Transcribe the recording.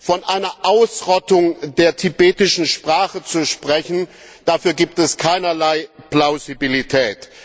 Von einer Ausrottung der tibetischen Sprache zu sprechen, dafür gibt es keinerlei Plausibilität.